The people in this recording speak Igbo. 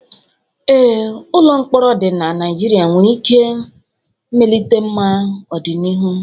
Ee, ụlọ mkpọrọ dị na Nigeria nwere ike mmelite mma n'ọdịnihu.